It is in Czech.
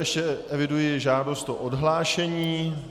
Ještě eviduji žádost o odhlášení.